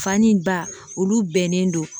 Fani ba olu bɛnnen don